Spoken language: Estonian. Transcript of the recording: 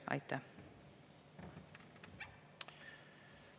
Aitäh!